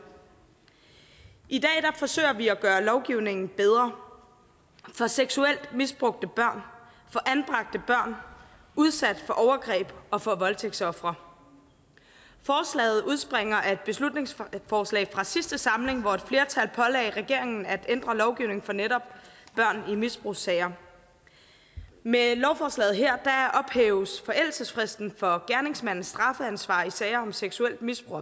i dag forsøger vi at gøre lovgivningen bedre for seksuelt misbrugte børn udsat for overgreb og for voldtægtsofre forslaget udspringer af et beslutningsforslag fra sidste samling hvor et flertal pålagde regeringen at ændre lovgivningen for netop børn i misbrugssager med lovforslaget her ophæves forældelsesfristen for gerningsmandens strafansvar i sager om seksuelt misbrug